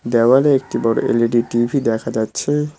দেওয়ালে একটি বড়ো এল_ই_ডি টি_ভি দেখা যাচ্ছে।